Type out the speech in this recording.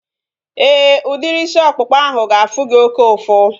Éè, udiri isi ọkpụkpa ahu ga-afụ gị oké ụfụ